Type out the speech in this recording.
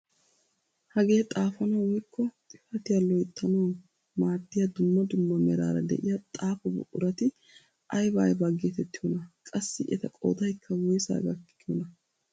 Hagee xaafanawu woykko xifatiyaa loyttanawu maaddiyaa dumma dumma meraara de'iyaa xaafo buqurati ayba ayba getettiyoonaa? qassi eta qoodaykka woysaa gakkiyoonaa?